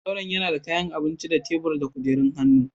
Zauren yana da kayan abinci da tebura da kujerun hannu.